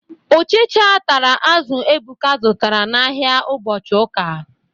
Ụchịcha tara azụ Ebuka zụtara n'ahia ụbọchị ụka.